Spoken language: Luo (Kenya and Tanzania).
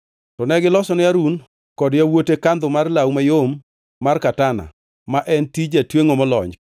To negilosone Harun kod yawuote kandho mar law mayom mar katana, ma en tij jatwengʼo molony,